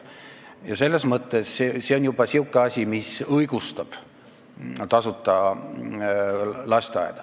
Ja selles mõttes on tasuta lasteaed õigustatud.